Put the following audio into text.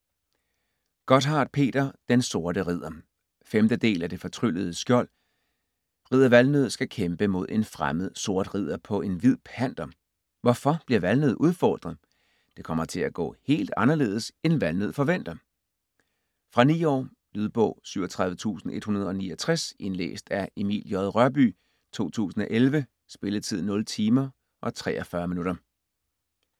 Gotthardt, Peter: Den sorte ridder 5. del af Det fortryllede skjold. Ridder Valnød skal kæmpe mod en fremmed sort ridder på en hvid panter. Hvorfor bliver Valnød udfordret? Det kommer til at gå helt anderledes, end Valnød forventer! Fra 9 år. Lydbog 37169 Indlæst af Emil J. Rørbye, 2011. Spilletid: 0 timer, 43 minutter.